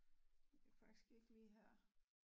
Ved faktisk ikke lige her